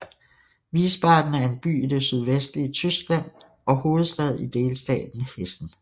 Wiesbaden er en by i det sydvestlige Tyskland og hovedstad i delstaten Hessen